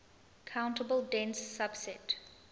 countable dense subset